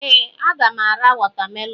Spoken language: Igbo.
Ee, a ga m ara watamelonụ.